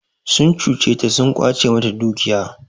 Sun cuce ta sun ƙwace mata dukiya.